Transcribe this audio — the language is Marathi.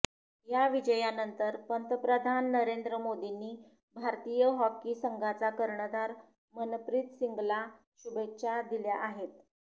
या विजयानंतर पंतप्रधान नरेंद्र मोदींनी भारतीय हॉकी संघाचा कर्णधार मनप्रीत सिंगला शुभेच्छा दिल्या आहेत